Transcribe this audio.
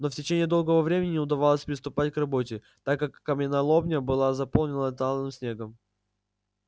но в течение долгого времени не удавалось приступать к работе так как каменоломня была заполнена талым снегом